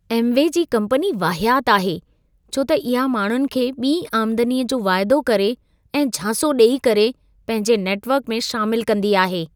Amway जी company वाहियात आहे छो त इहा माण्हुनि खे ॿिईं आमदनीअ जो वाइदो करे ऐं झांसो ॾेई करे, पंहिंजे नेटवर्क में शामिल कंदी आहे।